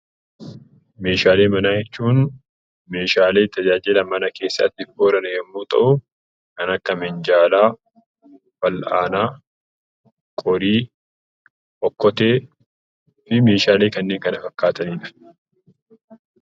Meeshaalee manaa jechuun Meeshaalee tajaajila mana keessaatiif oolan yemmuu ta'u, kan akka minjaalaa, fal'aanaa, qorii, okkotee, fi Meeshaalee kanneen kana fakkaatanidha.